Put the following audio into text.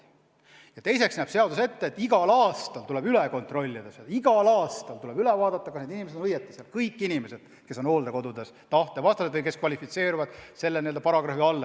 Ja teiseks näeb seadus ette, et igal aastal tuleb üle kontrollida, kas need inimesed on seal õigustatult, kas kõik inimesed, kes on hooldekodudes oma tahte vastaselt, kvalifitseeruvad selle paragrahvi alla.